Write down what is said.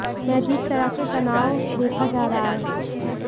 में अजीब तरह के तनाव देखा जा रहा है